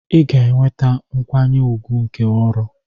Ị ga-enweta nkwanye ùgwù nke ọrụ.